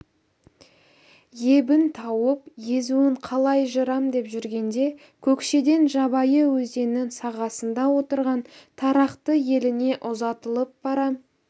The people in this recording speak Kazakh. ебін тауып езуін қалай жырам деп жүргенде көкшеден жабайы өзенінің сағасында отырған тарақты еліне ұзатылып бара